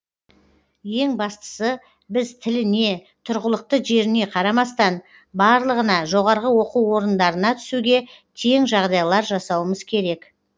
ең бастысы біз тіліне тұрғылықты жеріне қарамастан барлығына жоғарғы оқу орындарына түсуге тең жағдайлар жасауымыз керек